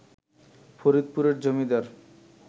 ফরিদপুরের জমিদার